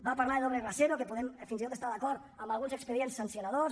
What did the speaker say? va parlar de doble rasero que hi podem fins i tot estar d’acord en alguns expedients sancionadors